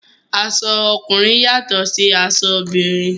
Aṣọ ọkùnrin yàtọ̀ sí aṣọ obìnrin.